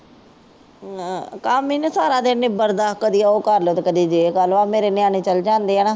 ਆਹ ਕੰਮ ਹੀ ਨਹੀ ਸਾਰਾ ਦਿਨ ਨਿਬੜਦਾ। ਕਦੀ ਉਹ ਕਰ ਲਉ ਤੇ ਕਦੀ ਯੇ ਕਰ ਲਉ ਇਹ ਮੇਰੇ ਨਿਆਣੇ ਚਲ ਜਾਂਦੇ ਹਾਂ।